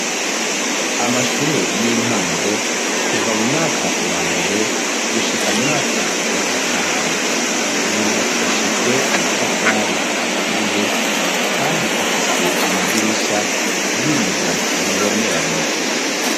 Amashure y'intango kuva mu mwaka wa mbere gushika mu mwaka wa gatanu yubakishijwe amatafari aturiye kandi afise amadirisha y'ibiyo ubibonerana.